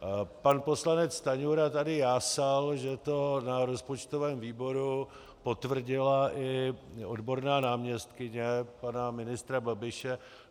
Pan poslanec Stanjura tady jásal, že to na rozpočtovém výboru potvrdila i odborná náměstkyně pana ministra Babiše.